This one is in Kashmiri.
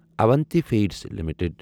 Avanti Feeds limited